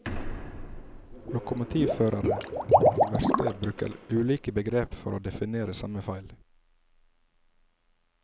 Lokomotivførere og verksted bruker ulike begreper for å definere samme feil.